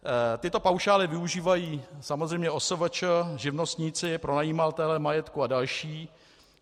Tyto paušály využívají samozřejmě OSVČ, živnostníci, pronajímatelé majetku a další.